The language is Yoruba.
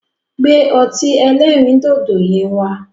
Gbẹ́ ọtí ẹlẹ́rìndòdò yẹn wá.